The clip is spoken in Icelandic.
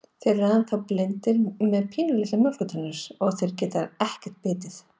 Þeir eru ennþá blindir og með svo pínulitlar mjólkurtennur, að þeir geta ekkert bitið.